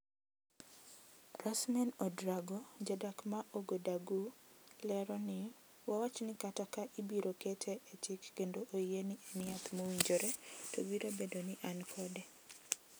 Rasmane Ouedraogo ,jadak ma Ouagadougou lero ni:"wawach ni kata ka ibiro kete e chik kendo oyie ni en yath mowinjore to biro bedo ni an kode.